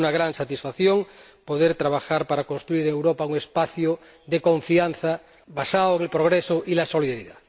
Ha sido una gran satisfacción poder trabajar para construir en Europa un espacio de confianza basado en el progreso y la solidaridad.